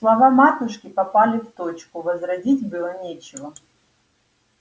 слова матушки попали в точку возразить было нечего